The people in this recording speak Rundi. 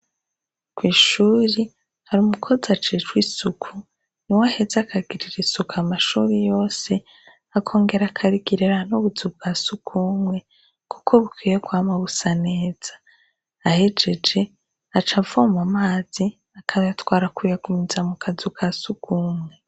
Kw'ishure har'umukozi ajejwe isuku niwe aheza akagirira isuku amashure yose, akongera akakigirira n'ubuzu bwa sugumwe kuko bukwiye kwama busa neza, ahejeje aca avoma amazi akayatwara kuyagumiza mukazu kasugumwe.